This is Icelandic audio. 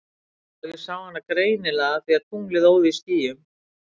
Já ég sá hana greinilega af því að tunglið óð í skýjum.